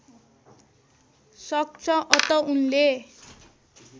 सक्छ अत उनले